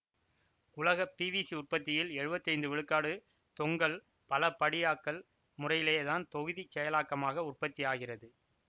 உலக பிவிசி உற்பத்தியில் எழுவத்தி ஐந்து விழுக்காடு தொங்கல் பலபடியாக்கல் முறையிலே தான் தொகுதிச் செயலாக்கமாக உற்பத்தியாகிறது